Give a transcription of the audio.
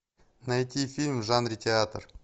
найти фильм в жанре театр